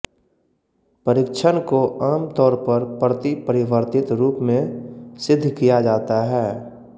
परीक्षण को आम तौर पर प्रतिपरिवर्तित रूप में सिद्ध किया जाता है